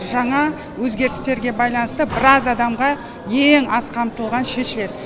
жаңа өзгерістерге байланысты біраз адамға ең аз қамтылған шешеді